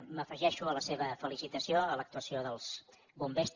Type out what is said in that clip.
m’afegeixo a la seva felicitació a l’actuació dels bombers